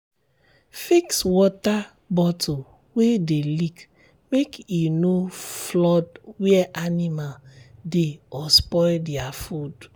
fix water bottle wey dey leak make e no flood where animal dey or spoil their food.